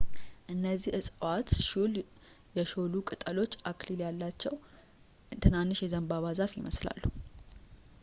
እነዚህ ዕፅዋት ሹል ፣ የሾሉ ቅጠሎች፣ አክሊል ያላቸው ትናንሽ የዘንባባ ዛፍ ይመስላሉ